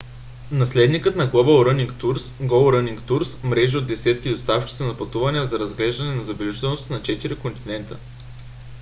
наследникът на global running tours go running tours мрежи от десетки доставчици на пътувания за разглеждане на забележителности на четири континента